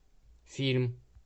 фильм